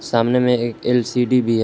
सामने में एक एल_सी_डी भी है।